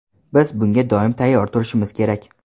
Biz bunga doim tayyor turishimiz kerak.